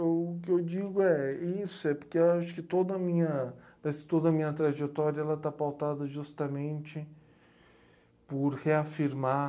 O que eu digo é isso, é porque acho que toda a minha, parece que toda a minha trajetória ela está pautada justamente por reafirmar